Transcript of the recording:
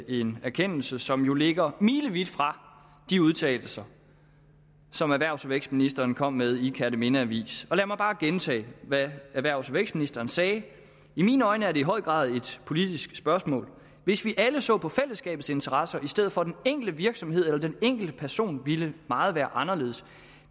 en erkendelse som jo ligger milevidt fra de udtalelser som erhvervs og vækstministeren kom med i kjerteminde avis og lad mig bare gentage hvad erhvervs og vækstministeren sagde i mine øjne er det i høj grad et politisk spørgsmål hvis vi alle så på fællesskabets interesser i stedet for den enkelte virksomhed eller den enkelte person ville meget være anderledes